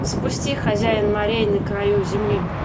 запусти хозяин морей на краю земли